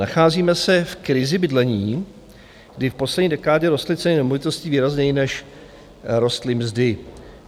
Nacházíme se v krizi bydlení, kdy v poslední dekádě rostly ceny nemovitostí výrazněji, než rostly mzdy.